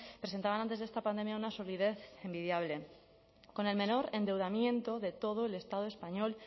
presentaban antes de esta pandemia una solidez envidiable con el menor endeudamiento de todo el estado español